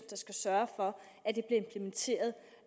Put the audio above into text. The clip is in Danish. der skal sørge for